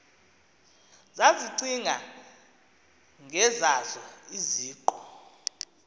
zazicinga ngezazo iziqu